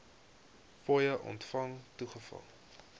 fooie ontvang toegeval